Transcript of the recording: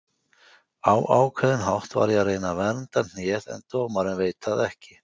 Á ákveðinn hátt var ég að reyna að vernda hnéð en dómarinn veit það ekki.